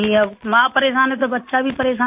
अब माँ परेशान है तो बच्चा भी परेशान है